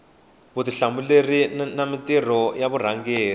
vutihlamuleri na mintirho ya varhangeri